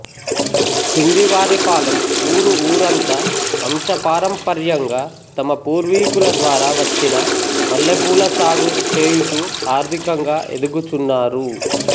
పిండివారిపాలెం ఊరు ఊరంతా వంశపారంపర్యంగా తమ పూర్వీకుల ద్వారా వచ్చిన మల్లెపూలసాగు చేయుచూ ఆర్థికంగా ఎదుగుచున్నారు